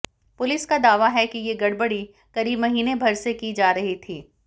police का दावा है कि ये गड़बड़ी करीब महीनेभर से की जा रही थी